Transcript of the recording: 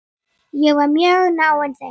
Ég var mjög náinn þeim.